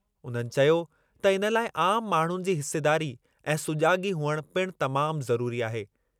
उन्हनि चयो त इन लाइ आमु माण्हुनि जी हिसेदारी ऐं सुजाॻी हुअण पिणु तमामु ज़रुरी आहे।